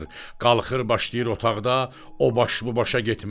Qalxır başlayır otaqda o baş bu başa getməyə.